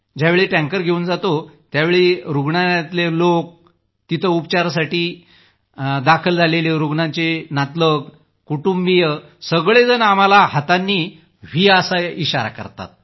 ज्यावेळी टँकर घेऊन जातो त्यावेळी रूग्णालयातले लोक तिथं उपचारासाठी दाखल झालेल्या रूग्णांचे नातलग कुटुंबिय लोक सगळेजण आम्हाला हातांनी व्ही असा इशारा करतात